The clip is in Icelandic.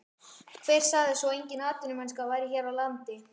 Hver sagði svo að engin atvinnumennska væri hér á landi?